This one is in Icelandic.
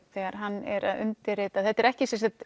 þegar hann er að undirrita þetta er ekki